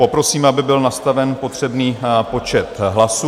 Poprosím, aby byl nastaven potřebný počet hlasů.